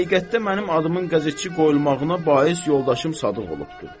Həqiqətdə mənim adımın qəzetçi qoyulmağına bais yoldaşım Sadıq olubdur.